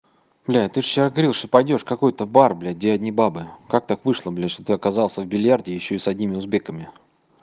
бля ты ж вчера говорил что пойдёшь в какой-то бар блядь где одни бабы как так вышло блять что ты оказался в бильярде и ещё с одними узбеками